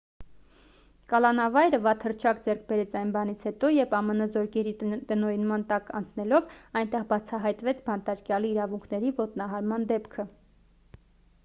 կալանավայրը վատ հռչակ ձեռք բերեց այն բանից հետո երբ ամն զորքերի տնօրինման տակ անցնելով այնտեղ բացահայտվեց բանտարկյալի իրավունքների ոտնահարման դեպքը